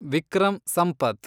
Vikram Sampath